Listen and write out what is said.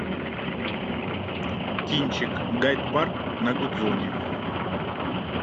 кинчик гайд парк на гудзоне